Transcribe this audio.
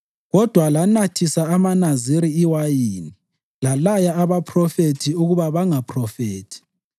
“Kodwa lanathisa amaNaziri iwayini, lalaya abaphrofethi ukuba bangaphrofethi.